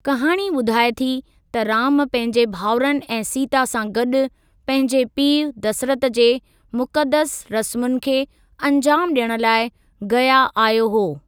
कहाणी ॿुधाए थी त राम पंहिंजे भाउरनि ऐं सीता सां गॾु पंहिंजे पीउ दसरथ जे मुक़दस रस्मुनि खे अंजामु ॾियणु लाइ गया आयो हुओ।